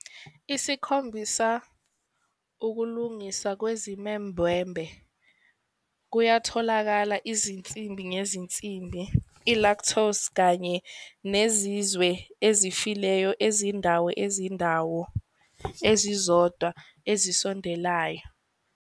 Isikhombisa, ukulungiswa kwezimembwembe kuyotholakala izinsimbi ngezinsimbi, i-lactose kanye nezizwe ezifileyo ezindawo ezindawo ezizodwa ezisondelayo.